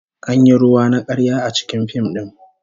An yi ruwa na karya a cikin fim din